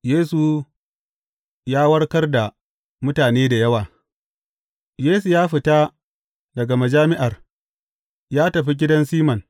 Yesu ya warkar da mutane da yawa Yesu ya fita daga majami’ar, ya tafi gidan Siman.